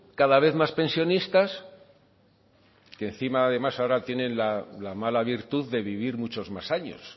cada vez más pensionistas y encima además ahora tienen la mala virtud de vivir muchos más años